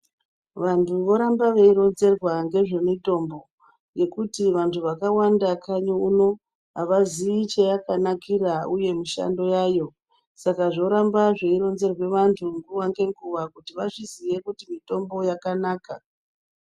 Vantu voramba veironzerwa ngezvemitombo ngekuti vantu vakawanda kanyi uno avaziyi cheyakanakira uye mishando yayo saka zvoramba zveironzerwe vantu nguva ngenguva kuti vazviziye kuti mitombo yakanaka.